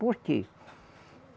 Por quê?